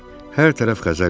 Hər tərəf Xəzər idi.